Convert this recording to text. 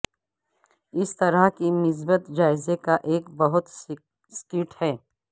اس طرح کی مثبت جائزے کا ایک بہت سکیٹ